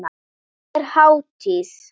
Er hátíð?